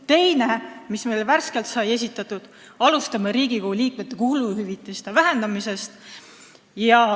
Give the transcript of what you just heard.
Teine asi, mille me värskelt esitasime: alustame Riigikogu liikmete kuluhüvitiste vähendamisest.